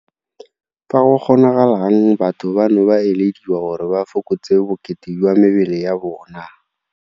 Fa go kgonagalang batho bano ba elediwa gore ba fokotse bokete jwa mebele ya bona.